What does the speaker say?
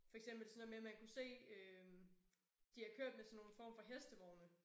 For eksempel sådan noget med at man kunne se øh de har kørt med sådan nogle form for hestevogne